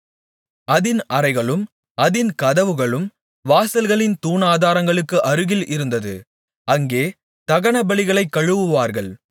அதின் அறைகளும் அதின் கதவுகளும் வாசல்களின் தூணாதாரங்களுக்கு அருகில் இருந்தது அங்கே தகனபலிகளைக் கழுவுவார்கள்